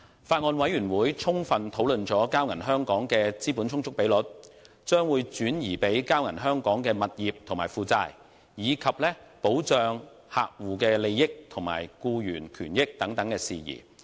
法案委員會充分討論了交銀香港的資本充足比率、將會轉移給交銀香港的物業及負債，以及客戶利益和僱員權益的保障等事宜。